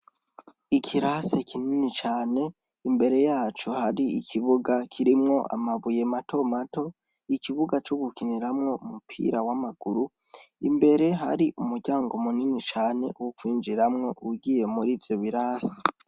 Ikirasi kinini cane, imbere yaco hari ikibuga kirimwo amabuye mato mato, ikibuga co gukiniramwo umupira amaguru, imbere hari umuryango munini cane wo kwinjiramwo ugiye murivyo birasi.